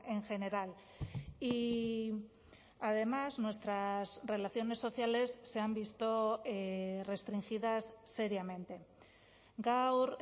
en general y además nuestras relaciones sociales se han visto restringidas seriamente gaur